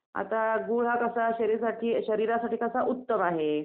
आता गूळ हा कसा शरीरासाठी उत्तम आहे.